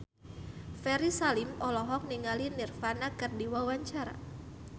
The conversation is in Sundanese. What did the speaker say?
Ferry Salim olohok ningali Nirvana keur diwawancara